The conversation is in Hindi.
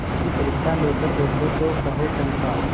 उसकी परीक्षा लेकर देखो तो कहो चंपा